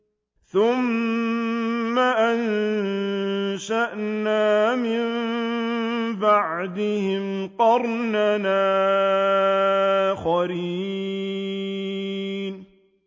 ثُمَّ أَنشَأْنَا مِن بَعْدِهِمْ قَرْنًا آخَرِينَ